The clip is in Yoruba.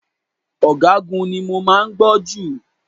Ọ̀gágun ni mo máa ń gbọ́ jù.